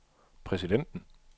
præsidenten